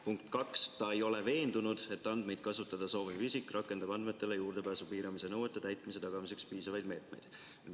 Punkt 2, ta ei ole veendunud, et andmeid kasutada sooviv isik rakendab andmetele juurdepääsu piiramise nõuete täitmise tagamiseks piisavaid meetmeid.